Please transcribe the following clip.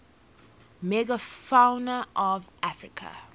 megafauna of africa